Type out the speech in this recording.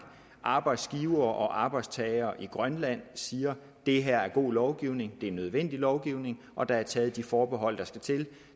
arbejdsgivere og arbejdstagere i grønland siger at det her er god lovgivning det er nødvendig lovgivning og at der er taget de forbehold der skal til